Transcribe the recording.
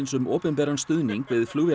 um opinberan stuðning við